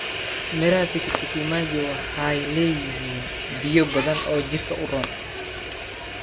Miraha tikiti maji waxay leeyihiin biyo badan oo jirka u roon.